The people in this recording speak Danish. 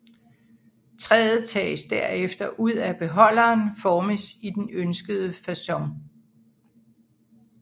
Træet tages derefter ud af beholderen formes i den ønskede facon